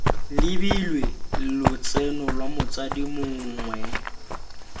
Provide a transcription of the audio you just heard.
lebilwe lotseno lwa motsadi mongwe